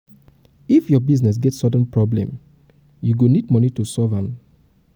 if your business get sudden problem you go need moni to solve am to solve am quick.